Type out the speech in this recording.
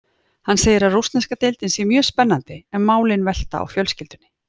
Hann segir að rússneska deildin sé mjög spennandi en málin velti á fjölskyldunni.